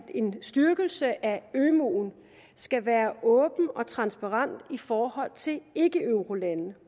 en styrkelse af ømuen skal være åben og transparent i forhold til ikkeeurolande